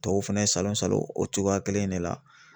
Tɔw fɛnɛ salon salon o cogoya kelen in de la